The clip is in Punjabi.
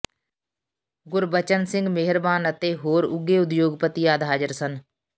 ਗੁਰਚਰਨ ਸਿੰਘ ਮੇਹਰਬਾਨ ਅਤੇ ਹੋਰ ਉੱਘੇ ਉਦਯੋਗਪਤੀ ਆਦਿ ਹਾਜ਼ਰ ਸਨ